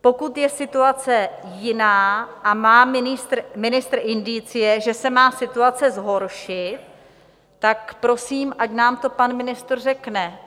Pokud je situace jiná a má ministr indicie, že se má situace zhoršit, tak prosím, ať nám to pan ministr řekne.